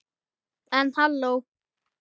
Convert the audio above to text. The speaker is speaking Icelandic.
En halló.